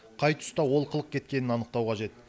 қай тұста олқылық кеткенін анықтау қажет